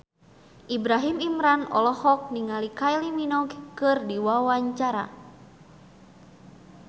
Ibrahim Imran olohok ningali Kylie Minogue keur diwawancara